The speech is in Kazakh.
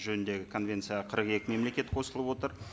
жөніндегі конвенцияға қырық екі мемлекет қосылып отыр